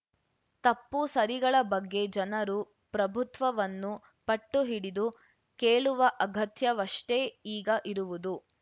ತಪ್ಪು ಸರಿಗಳ ಬಗ್ಗೆ ಜನರು ಪ್ರಭುತ್ವವನ್ನು ಪಟ್ಟು ಹಿಡಿದು ಕೇಳುವ ಅಗತ್ಯವಷ್ಟೇ ಈಗ ಇರುವುದು